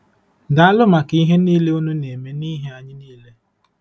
Daalụ maka ihe niile unu na-eme n’ihi anyị niile.